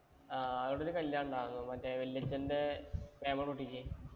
ആ, അവിടൊരു കല്യാണം ഉണ്ടാരുന്നു. മറ്റേ വല്യച്ഛന്‍റെ കുട്ടിക്ക്.